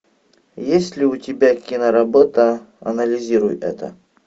есть ли у тебя киноработа анализируй это